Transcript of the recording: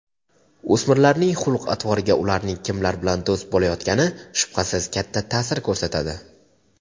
O‘smirlarning xulq-atvoriga ularning kimlar bilan do‘st bo‘layotgani shubhasiz katta ta’sir ko‘rsatadi.